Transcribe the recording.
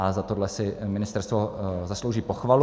A za tohle si ministerstvo zaslouží pochvalu.